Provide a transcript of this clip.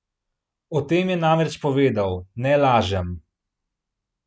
O tem je namreč povedal: "Ne lažem.